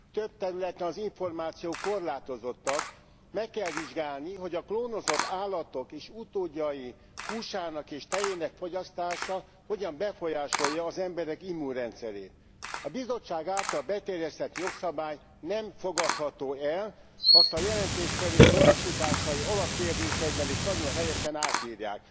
Több területen az információk korlátozottak, meg kell vizsgálni, hogy a klónozott állatok és utódjai húsának és tejének fogyasztása hogyan befolyásolja az emberek immunrendszerét. A Bizottság által beterjesztett jogszabály nem fogadható el, azt az előadók módosításai alapkérdésekben is nagyon helyesen átírják.